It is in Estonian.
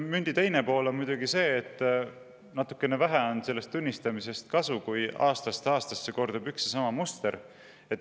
Mündi teine pool on muidugi see, et natukene vähe on sellest tunnistamisest kasu, kui aastast aastasse kordub üks ja sama muster.